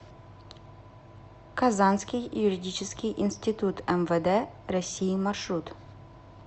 казанский юридический институт мвд россии маршрут